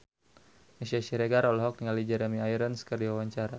Meisya Siregar olohok ningali Jeremy Irons keur diwawancara